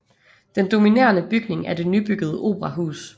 Den dominerende bygning er det nybyggede operahus